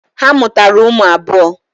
Ha mụtara ụmụ abụọ.